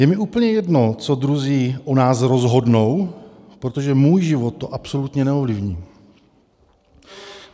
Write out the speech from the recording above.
Je mi úplně jedno, co druzí o nás rozhodnou, protože můj život to absolutně neovlivní.